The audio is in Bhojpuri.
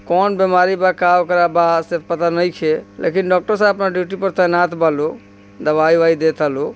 कोन बीमारी बा का करा बा से पता नहीं छे लेकिन डॉक्टर सहाब अपनी ड्यूटी पर तैनात बा दवाई ववाई देता लो ।